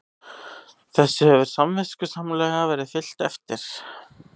Þessu hefur samviskusamlega verið fylgt eftir